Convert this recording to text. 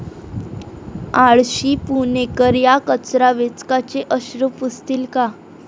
आळशी पुणेकर, या कचरा वेचकाचे अश्रू पुसतील का?